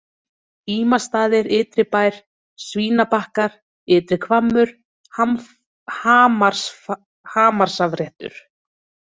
Ímastaðir Ytribær, Svínabakkar, Ytri Hvammur, Hamarsafréttur